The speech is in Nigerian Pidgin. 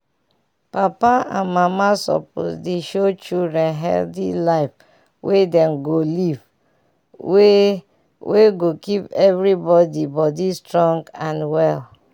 papa and mama suppose dey show children healthy life wey dem go live wey wey go keep everybody body strong and well.